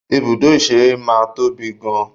Ibùdó ìṣeré máa ń tóbi gan an.